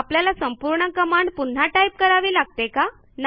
आपल्याला संपूर्ण कमांड पुन्हा टाईप करावी लागते का